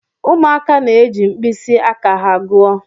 Ụmụaka na-eji mkpịsị aka ha gụọ.